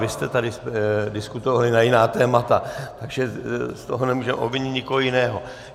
Vy jste tady diskutovali na jiná témata, takže z toho nemůžeme obvinit nikoho jiného.